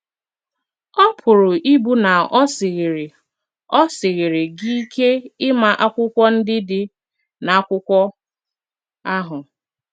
Ọ pụrụ ịbụ na o sighịrị o sighịrị gị ike ịma akwụkwọ ndị dị na akwụkwo ahụ.